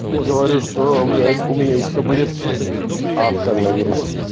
и говорю что блять у меня есть таблетки от коронавируса